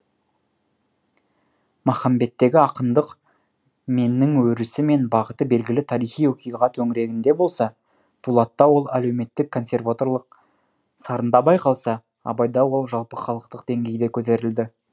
махамбеттегі ақындық меннің өрісі мен бағыты белгілі тарихи оқиға төңірегінде болса дулатта ол әлеуметтік консерваторлық сарында байқалса абайда ол жалпыхалықтық деңгейге көтерілді